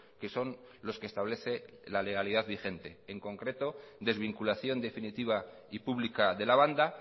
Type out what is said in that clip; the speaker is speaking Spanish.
que son los que establece la legalidad vigente en concreto desvinculación definitiva y pública de la banda